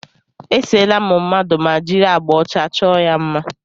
E seela m mmadụ ma jiri agbà ọcha chọọ ya mma.